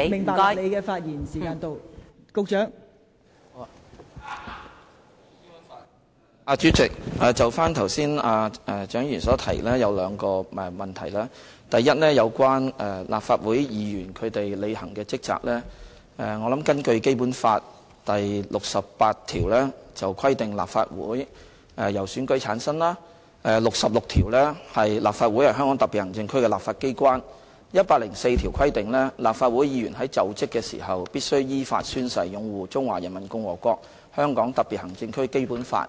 代理主席，就蔣議員剛才所提及的兩個問題：第一，有關立法會議員履行的職責，根據《基本法》第六十八條，規定立法會由選舉產生；第六十六條，立法會是香港特別行政區的立法機關；第一百零四條規定，立法會議員"在就職時必須依法宣誓擁護中華人民共和國香港特別行政區基本法，